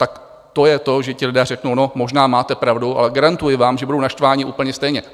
Tak to je to, že ti lidé řeknou: No, možná máte pravdu, ale garantuji vám, že budou naštvaní úplně stejně.